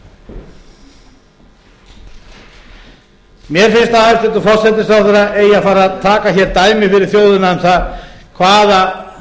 meira mér finnst að hæstvirtur forsætisráðherra eigi að fara að taka hér dæmi fyrir þjóðina um það hvaða